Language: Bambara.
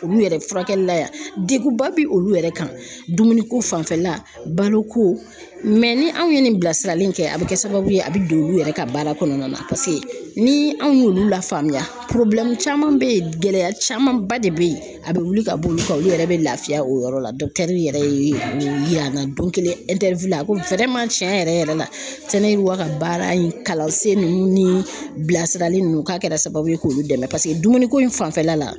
Olu yɛrɛ furakɛli la yan, degunba bi olu yɛrɛ kan dumuniko fanfɛla la, baloko mɛ ni anw ye nin bilasirali in kɛ, a be kɛ sababu ye a be don olu yɛrɛ ka baara kɔnɔna na ni anw y'olu lafaamuya caman bɛ yen, gɛlɛya camanba de be yen a be wuli ka bɔ olu kan olu yɛrɛ be lafiya o yɔrɔ la yɛrɛ ye o yira an na don kelen cɛn yɛrɛ yɛrɛ la , sɛnɛwa ka baara in kalansen ninnu ni bilasirali nunnu k'a kɛra sababu ye k'olu dɛmɛ paseke dumuniko in fanfɛla la.